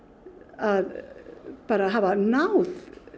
að bara hafa náð